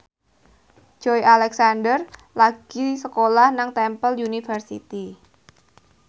Joey Alexander lagi sekolah nang Temple University